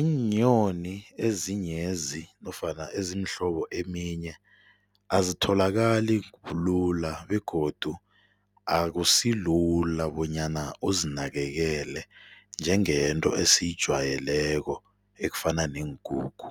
iinyoni ezinyezi nofana ezimhlobo eminye azitholakali lula begodu akusilula bonyana uzinakekele njengento esiyijwayeleko ekufana neenkukhu.